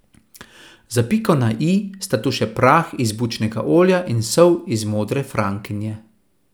Za piko na i sta tu še prah iz bučnega olja in sol iz modre frankinje.